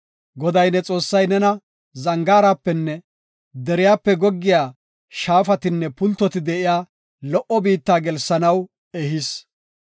Goday ne Xoossay nena zangaarapenne deriyape goggiya shaafatinne pultoti de7iya lo77o biitta gelsanaw ehis.